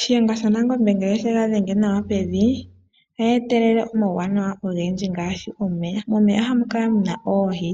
Shiyenga sha Nangombe ngele oshega dhenge nawa pevi ohetelele omawunawa ogendji ngaashi omeya, omeya ohamu kala muna oohi,